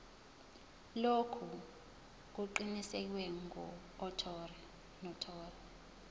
lokhu kuqinisekiswe ngunotary